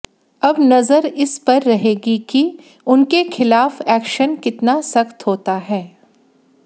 अब नजर इस पर रहेगी कि उनके खिलाफ एक्शन कितना सख्त होता है